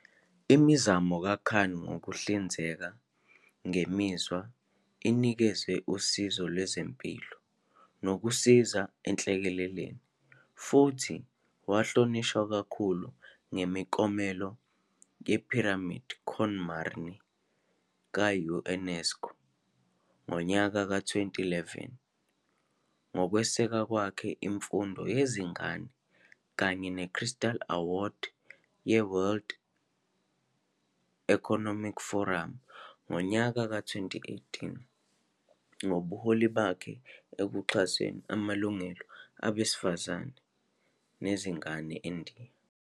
Imizamo kaKhan yokuhlinzeka ngemizwa inikeze usizo lwezempilo nokusiza enhlekeleleni, futhi wahlonishwa ngemiklomelo ye-Pyramide con Marni ka-UNESCO ngonyaka ka-2011 ngokweseka kwakhe imfundo yezingane kanye ne-Crystal Award ye-World Economic Foramu ngonyaka ka-2018 ngobuholi bakhe ekuxhaseni amalungelo abesifazane nawezingane eNdiya.